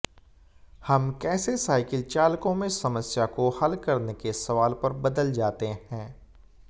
हम कैसे साइकिल चालकों में समस्या को हल करने के सवाल पर बदल जाते हैं